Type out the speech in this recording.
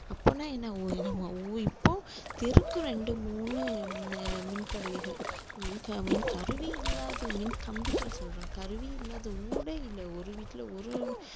அப்பான்னா என்ன ஓ நம்ம ஓ இப்போ தெருக்கு ரெண்டு மூணு அஹ் மின் கருவிகள் கருவி இல்லாத மின் கம்பிகள் சொல்றோம் கருவி இல்லாத ஊடே இல்லை ஒரு வீட்டிலே ஒரு